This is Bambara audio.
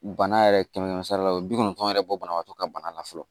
Bana yɛrɛ kɛmɛ sara la o bi kɔnɔntɔn yɛrɛ bɔ banabaatɔ ka bana la fɔlɔ